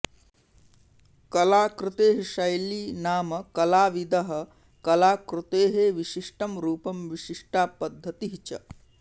कलाकृतेः शैली नाम कलाविदः कलाकृतेः विशिष्टं रूपं विशिष्टा पद्धति च